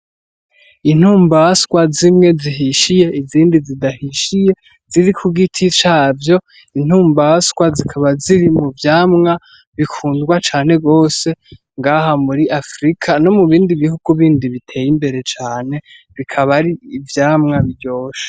Intumbaswa zimwe zihishiye izindi zidahishiye ziri ku giti cavyo. Intumbaswa zikaba ziri mu vyamwa bikundwa cane gose ngaha muri Afrika no mu bindi bihugu bindi biteye imbere cane, bikaba ari ivyamwa biryoshe.